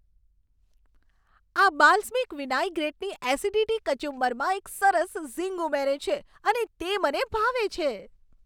આ બાલ્સમિક વિનાઈગ્રેટની એસિડિટી કચુંબરમાં એક સરસ ઝિંગ ઉમેરે છે અને તે મને ભાવે છે.